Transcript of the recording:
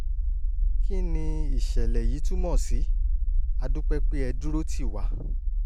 kí ni ìṣẹ̀lẹ̀ yìí túmọ̀ sí? a dúpẹ́ pé ẹ dúró tì wá